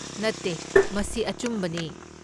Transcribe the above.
ꯅꯠꯇꯦ, ꯃꯁꯤ ꯑꯆꯨꯝꯕꯅꯦ꯫